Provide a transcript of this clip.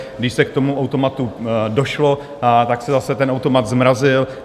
Když se k tomu automatu došlo, tak se zase ten automat zmrazil.